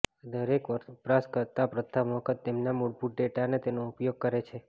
દરેક વપરાશકર્તા પ્રથમ વખત તેમના મૂળભૂત ડેટાને તેનો ઉપયોગ કરે છે